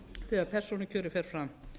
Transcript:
þegar persónukjörið fer fram